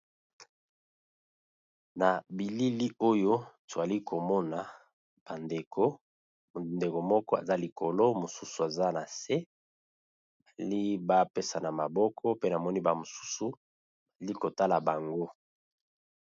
Na bilili oyo tozali komona ba ndeko ndeko moko aza likolo mosusu aza nase baali ba pesana maboko pe namoni ba mosusu baali kotala bango.